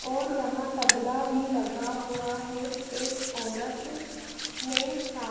और यहाँ तबला भी लगा हुआ है एक औरत ने सा --